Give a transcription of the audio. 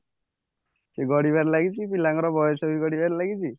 ସେ ଗଡିବାରେ ଲାଗିଛି ପିଲାଙ୍କର ବୟସ ଗଡିବାରେ ଲାଗିଛି